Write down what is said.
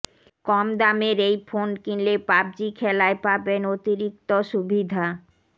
কম দামের এই ফোন কিনলে পাবজি খেলায় পাবেন অতিরিক্ত সুবিধা